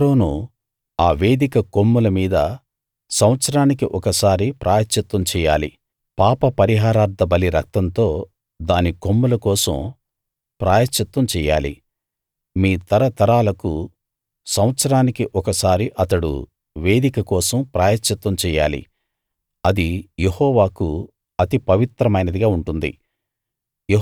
అహరోను ఆ వేదిక కొమ్ముల మీద సంవత్సరానికి ఒకసారి ప్రాయశ్చిత్తం చెయ్యాలి పాప పరిహారార్థబలి రక్తంతో దాని కొమ్ముల కోసం ప్రాయశ్చిత్తం చెయ్యాలి మీ తరతరాలకూ సంవత్సరానికి ఒకసారి అతడు వేదిక కోసం ప్రాయశ్చిత్తం చెయ్యాలి అది యెహోవాకు అతి పవిత్రమైనదిగా ఉంటుంది